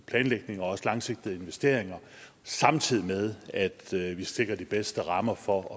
planlægning og også langsigtede investeringer samtidig med at vi sikrer de bedste rammer for